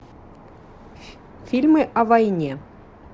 фильмы о войне